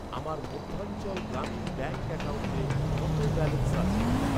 আমার মধ্যাঞ্চল গ্রামীণ ব্যাঙ্ক অ্যাকাউন্টে কত ব্যালেন্স আছে?